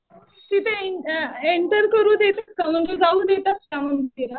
तिथे एंटर करू देतात का म्हणजे जाऊ देतात का?